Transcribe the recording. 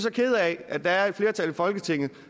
kede af at der er et flertal i folketinget